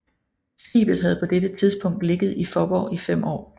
Skibet havde på dette tidspunkt ligget i Faaborg i 5 år